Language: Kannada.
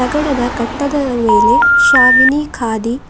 ಅಂಗಡದ ಕಟ್ಟದದ ಮೇಲೆ ಶಾವಿನಿ ಕಾದಿ--